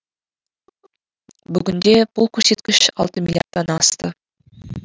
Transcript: бүгінде бұл көрсеткіш алты миллиардтан асты